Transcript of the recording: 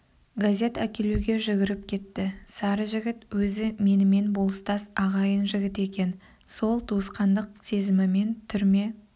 газет әкелуге жүгіріп кетті сары жігіт өзі менімен болыстас ағайын жігіт екен сол туысқандық сезімімен түрме